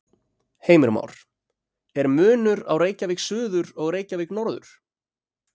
Heimir Már: Er munur á Reykjavík suður og Reykjavík norður?